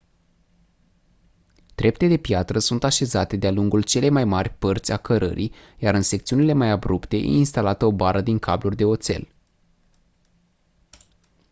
trepte de piatră sunt așezate de-a lungul celei mai mari părți a cărării iar în secțiunile mai abrupte e instalată o bară din cabluri de oțel